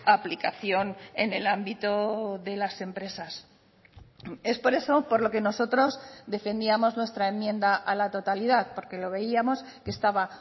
aplicación en el ámbito de las empresas es por eso por lo que nosotros defendíamos nuestra enmienda a la totalidad porque lo veíamos que estaba